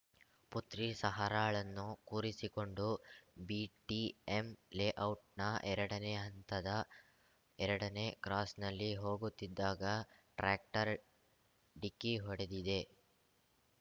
ಪುತ್ರಿ ಸಹರಾಳನ್ನು ಕೂರಿಸಿಕೊಂಡು ಬಿಟಿಎಂ ಲೇಔಟ್‌ನ ಎರಡನೇ ಹಂತದ ಎರಡನೇ ಕ್ರಾಸ್‌ನಲ್ಲಿ ಹೋಗುತ್ತಿದ್ದಾಗ ಟ್ರ್ಯಾಕ್ಟರ್ ಡಿಕ್ಕಿ ಹೊಡೆದಿದೆ